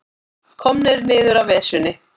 Komnir niður af Esjunni